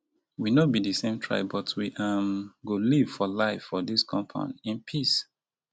we no be di same tribe but we um go live for live for dis compound in peace.